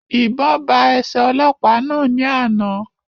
Ìbọn ba ẹsẹ ọlọ́pàá náà ní àna